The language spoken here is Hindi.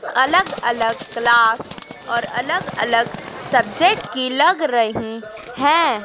अलग अलग क्लास और अलग अलग सब्जेक्ट की लग रही हैं।